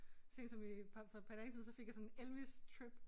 Sent som i par for et par dage siden så fik jeg sådan Elvis trip